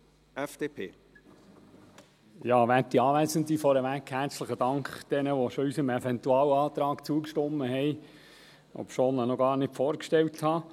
Dank all jenen, die bereits unserem Eventualantrag zugestimmt haben, obschon ich ihn noch gar nicht vorgestellt habe.